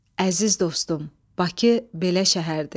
Əziz dostum, Bakı belə şəhərdir.